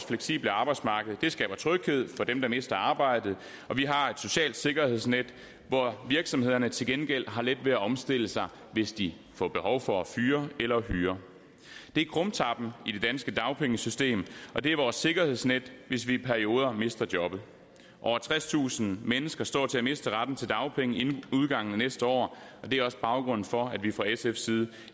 fleksible arbejdsmarked det skaber tryghed for dem der mister arbejdet vi har et socialt sikkerhedsnet hvor virksomhederne til gengæld har let ved at omstille sig hvis de får behov for at fyre eller at hyre det er krumtappen i det danske dagpengesystem og det er vores sikkerhedsnet hvis vi i perioder mister jobbet over tredstusind mennesker står til at miste retten til dagpenge inden udgangen af næste år det er også baggrunden for at vi fra sfs side